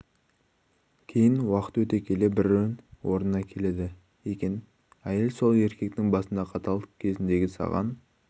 кейін уақыт өте келе брі орнына келеді екен йел сол еркектің басында қатал кезіндегі саған